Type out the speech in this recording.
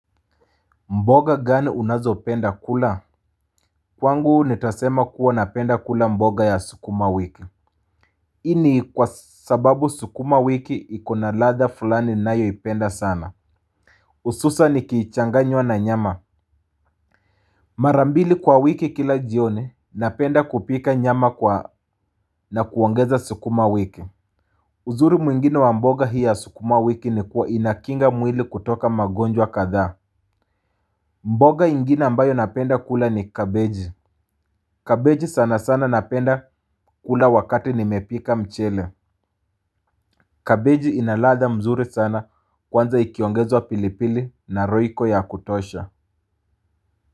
Mboga gani unazo penda kula? Kwangu nitasema kuwa napenda kula mboga ya sukumawiki hii ni kwa sababu sukuma wiki ikona ladha fulani ninayoipenda sana. Hususan ikichanganywa na nyama. Mara mbili kwa wiki kila jioni napenda kupika nyama na kuongeza sukuma wiki. Uzuri mwingine wa mboga hii ya sukumawiki ni kuwa inakinga mwili kutoka magonjwa kadhaa. Mboga ingine ambayo napenda kula ni kabeji. Kabeji sana sana napenda kula wakati nimepika mchele. Kabeji ina ladha mzuri sana kwanza ikiongezwa pilipili na royco ya kutosha.